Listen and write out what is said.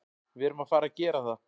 Við erum að fara að gera það.